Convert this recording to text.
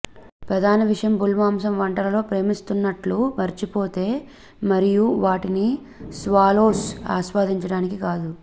ప్రధాన విషయం బుల్ మాంసం వంటలలో ప్రేమిస్తున్నట్లు మర్చిపోతే మరియు వాటిని స్వాలోస్ ఆస్వాదించడానికి కాదు